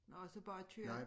Og så bare køre